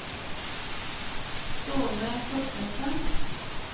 Ståle Thorstensen